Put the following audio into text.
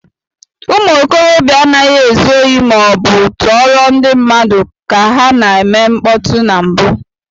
Ụmụ okorobịa anaghị ezu ohi ma ọ bụ tọọrọ ndị mmadụ ka ha na-eme mkpọtụ na mbụ.